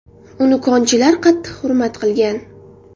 Uni konchilar qattiq hurmat qilgan.